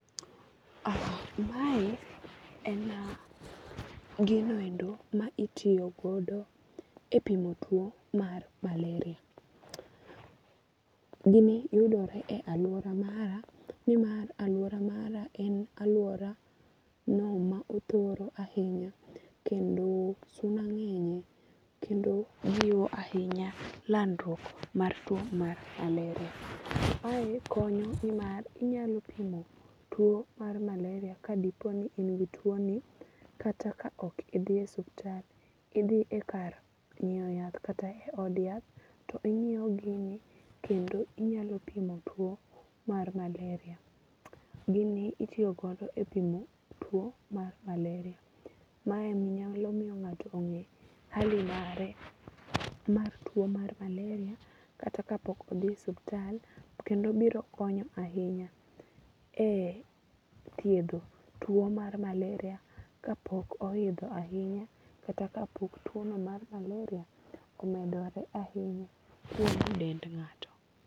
Mae en giniendo ma itiyogodo e pimo tuo mar malaria. Gini yudore e aluora mara ni mar aluora mara en aluora no ma othoro ahinya kendo suna ng'enye. Kendo suna ng'enye kendo jiwo ahinya landruok mar tuo mar malaria. Mae konyo nimar inyalo pimo tuo mar malaria ka dipo ni in gi tuo ni kata ka ok idhiye osuptal. Idhi e kar nyiew yath kata od yath. To inyiew gini kendo inyalo pimo tuo mar malaria. Gini itiyogodo e pimo tuo mar malaria. Mae nyalo miyo ng'ato ong'e hali mare mar tuo mar malaria kata ka pok odhi osuptal. Kendo biro konyo ahinya e thiedho tuo mar malaria ka pok ohidho ahinya kata ka pok tuo no mar maleria omedore ahinya e dend ng'ato.